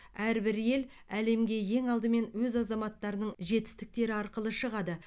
әрбір ел әлемге ең алдымен өз азаматтарының жетістіктері арқылы шығады